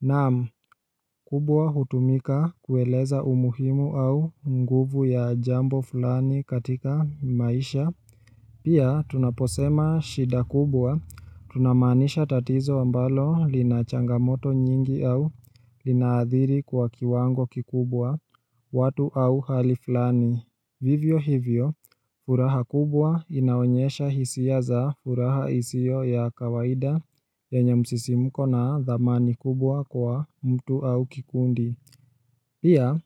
Naam, kubwa hutumika kueleza umuhimu au nguvu ya jambo fulani katika maisha Pia tunaposema shida kubwa, tunamanisha tatizo ambalo linachangamoto nyingi au linaadhiri kwa kiwango kikubwa, watu au hali fulani hivyo hivyo furaha kubwa inaonyesha hisia za furaha isio ya kawaida ya nyamsisimuko na dhamani kubwa kwa mtu au kikundi Pia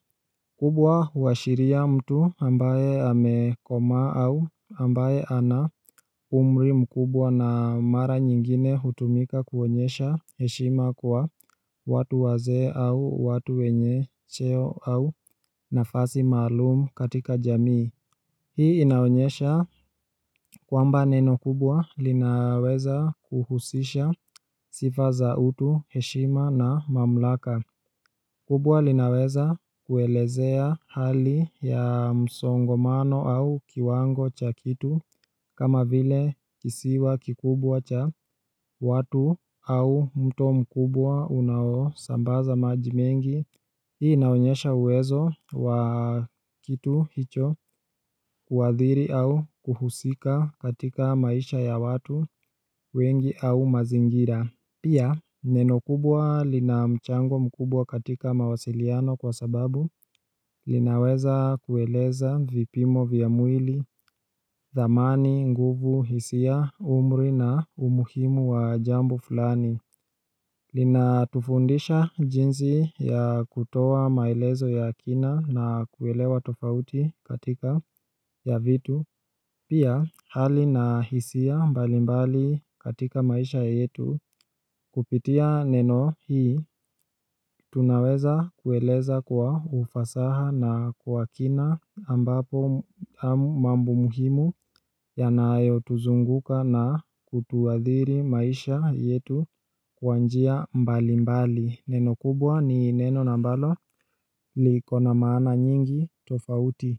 kubwa huashiria mtu ambaye amekomaa au ambaye ana umri mkubwa na mara nyingine hutumika kuonyesha heshima kwa watu wazee au watu wenye cheo au nafasi malumu katika jamii Hii inaonyesha kwamba neno kubwa linaweza kuhusisha sifa za utu, heshima na mamulaka kubwa linaweza kuelezea hali ya msongomano au kiwango cha kitu kama vile kisiwa kikubwa cha watu au mto mkubwa unao sambaza maji mengi Hii naonyesha uwezo wa kitu hicho, kuadhiri au kuhusika katika maisha ya watu wengi au mazingira Pia neno kubwa lina mchango mkubwa katika mawasiliano kwa sababu linaweza kueleza vipimo vya mwili thamani, nguvu, hisia, umri na umuhimu wa jambo fulani lina tufundisha jinsi ya kutoa maelezo ya kina na kuelewa tofauti katika ya vitu Pia hali na hisia mbalimbali katika maisha yetu Kupitia neno hii tunaweza kueleza kwa ufasaha na kwa kina ambapo mambo muhimu ya naayo tuzunguka na kutuadhiri maisha yetu kwa njia mbalimbali. Neno kubwa ni neno na mbalo likona maana nyingi tofauti.